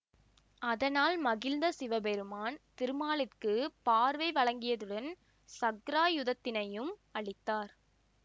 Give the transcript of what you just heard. அதனால் மகிழ்ந்த சிவபெருமான் திருமாலிற்கு பார்வை வழங்கியதுடன் சக்ராயுதத்தினையும் அளித்தார்